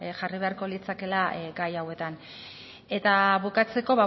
jarri beharko litzatekeela gai hauetan eta bukatzeko